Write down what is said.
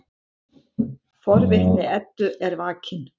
Forvitni Eddu er vakin.